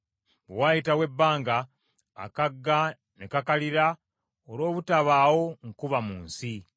Bwe waayitawo ebbanga, akagga ne kakalira olw’obutabaawo nkuba mu nsi.